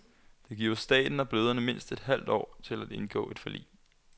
Det giver staten og bløderne mindst et halvt år til at indgå et forlig.